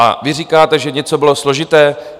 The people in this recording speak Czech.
A vy říkáte, že něco bylo složité?